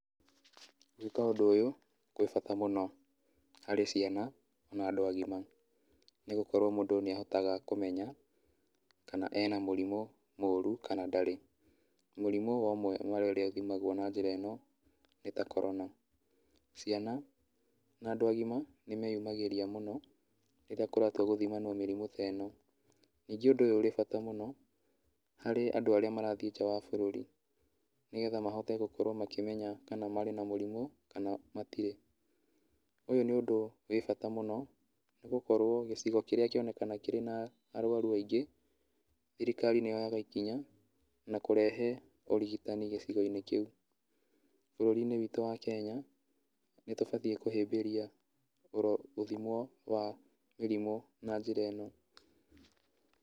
Gwĩka ũndũ ũyũ gwĩ bata mũno harĩ ciana na andũ agima, nĩgũkorwo mũndũ nĩahotaga kũmenya kana ena mũrimũ mũru kana ndarĩ. Mũrimũ wa ũmwe wa ũrĩa ũthimagwo na njĩra ĩno, nĩ ta korona. Ciana na andũ agima nĩmeyumagĩria mũno rĩrĩa kũratua gũthimanwo mĩrimũ ta ĩno. Ningĩ ũndũ ũyũ ũrĩ bata mũno, harĩ andũ arĩa marathiĩ nja wa bũrũri, nĩgetha mahote gũkorwo makĩmenya kana marĩ na mũrimũ kana matirĩ. Ũyũ nĩ ũndũ wĩ bata mũno, nĩgũkorwo gĩcigo kĩrĩa kĩonekana kĩrĩ na arwaru aingĩ, thirikari nĩyoyaga ikinya na kũrehe ũrigitani gĩcigo-inĩ kĩu. Bũrũri-inĩ witũ wa Kenya, nĩtũbatiĩ kũhĩmbĩria gũthimwo wa mĩrimũ na njĩra ĩno.